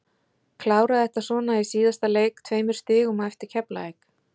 Klára þetta svona í síðasta leik, tveimur stigum á eftir Keflavík.